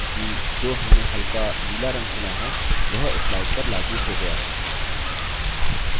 ध्यान दें कि जो हमने हल्का नीला रंग चुना है वह slide पर लागू हो गया है